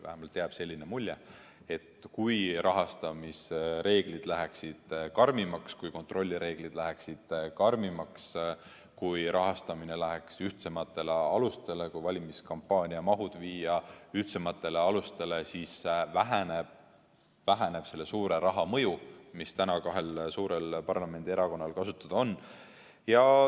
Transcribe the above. Vähemalt jääb selline mulje, et kui rahastamisreeglid läheksid karmimaks, kui kontrollireeglid läheksid karmimaks, kui rahastamine läheks ühtsematele alustele, kui valimiskampaaniamahud viia ühtsematele alustele, siis väheneb selle suure raha mõju, mis täna kahel suurel parlamendierakonnal kasutada on.